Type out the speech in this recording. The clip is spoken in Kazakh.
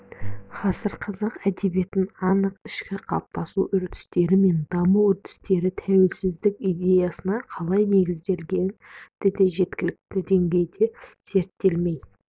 ғасыр қазақ әдебиетін оның ішкі қалыптасу үрдістері мен даму үдерістері тәуелсіздік идеясына қалай негізделгендігі де жеткілікті деңгейде зерттелмей